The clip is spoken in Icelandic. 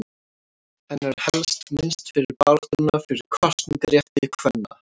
Hennar er helst minnst fyrir baráttuna fyrir kosningarétti kvenna.